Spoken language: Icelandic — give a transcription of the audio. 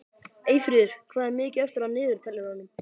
Eyfríður, hvað er mikið eftir af niðurteljaranum?